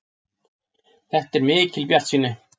Þetta er mikil bjartsýni.